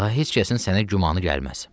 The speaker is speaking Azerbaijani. Daha heç kəsin sənə gümanı gəlməz.